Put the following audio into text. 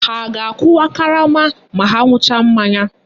Ha a ga-akụwa karama ma ha ṅucha mmanya?